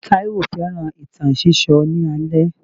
Taiwo fẹ́ràn ìtàn sísọ ní alẹ́.